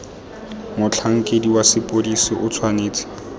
motlhankedi wa sepodisi o tshwanetse